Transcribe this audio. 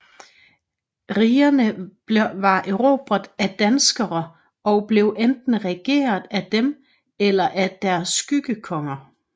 Rigerne var erobret af danskerne og blev enten regeret af dem eller af deres skyggekonger